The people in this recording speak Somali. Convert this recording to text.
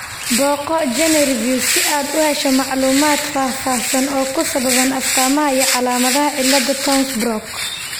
Booqo GeneReviews si aad u hesho macluumaad faahfaahsan oo ku saabsan astamaha iyo calaamadaha cilada Townes Brocks .